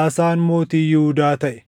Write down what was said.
Aasaan mootii Yihuudaa taʼe;